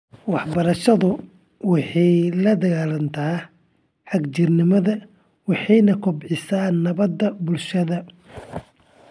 Waxbarashadu waxay la dagaalanto xagjirnimada waxayna kobcisaa nabadda bulshada .